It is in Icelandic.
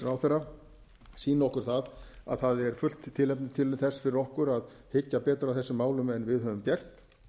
ráðherra sýni okkur að það er fullt tilefni til þess fyrir okkur að hyggja betur að þessum málum en við höfum gert